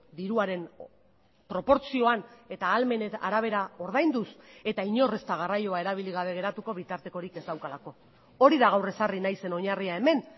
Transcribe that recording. diruaren proportzioan eta ahalmenen arabera ordainduz eta inor ez da garraioa erabili gabe geratuko bitartekorik ez daukalako hori da gaur ezarri nahi zen oinarria hemen